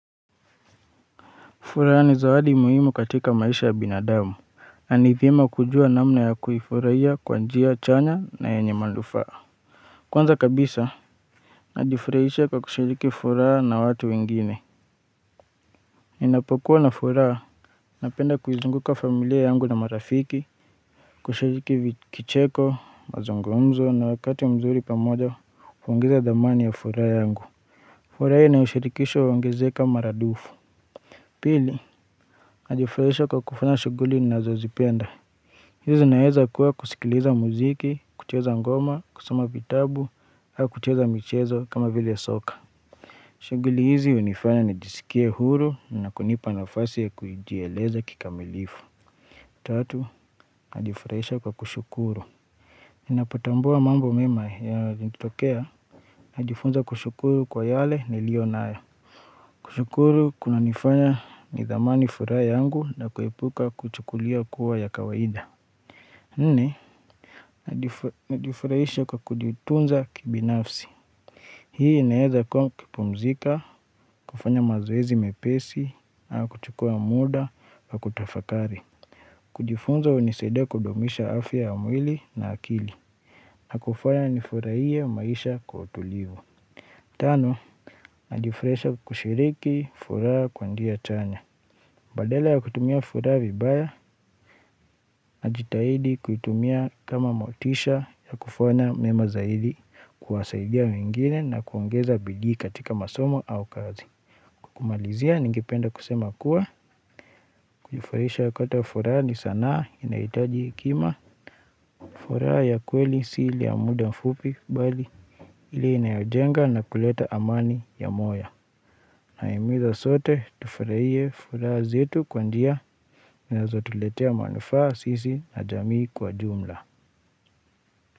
Furaha ni zawadi muhimu katika maisha ya binadamu, na ni vyema kujua namna ya kuifurahia kwa njia chanya na yenye manufaa. Kwanza kabisa, najifurahisha kwa kushiriki furaha na watu wengine. Ninapokuwa na furaha, napenda kuizunguka familia yangu na marafiki, kushiriki kicheko, mazungumzo na wakati mzuri pamoja, huongeza dhamani ya furaha yangu. Furaha yenye ushirikisho huongezeka mara dufu. Pili, najifurahisha kwa kufanya shuguli ninazozipenda. Hizi naeza kuwa kusikiliza muziki, kucheza ngoma, kusoma vitabu au kucheza michezo kama vile soka shuguli hizi hunifanya nijisikie huru na kunipa nafasi ya kujieleza kikamilifu Tatu, najifurahisha kwa kushukuru Ninapotambua mambo mema yalinitokea Najifunza kushukuru kwa yale nilio nayo kushukuru kunanifanya ni dhamani furaha yangu na kuepuka kuchukulia kuwa ya kawaida Nne najifurahisha kwa kujitunza kibinafsi Hii inaweza kuwa kupumzika, kufanya mazoezi mepesi, au kuchukua muda, na kutafakari kujifunza hunisaidia kudumisha afya ya mwili na akili na kufanya nifurahie maisha kwa utulivu Tano, najifurahisha kushiriki, furaha kwa njia chanya Badala ya kutumia furaha vibaya, na jitahidi kuitumia kama motisha ya kufanya mema zaidi kuwasaidia wengine na kuongeza bidii katika masomo au kazi kumalizia ningependa kusema kuwa kujifurahisha wakati wa furaha ni saana inahitaji hekima furaha ya kweli sio ile ya muda mfupi bali ile inayojenga na kuleta amani ya moyo naimiza sote tufurahie furaha zetu kwa njia zinazo tuletea manufaa sisi na jamii kwa jumla.